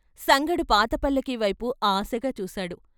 సంగడు పాత పల్లకీవైపు ఆశగా చూశాడు.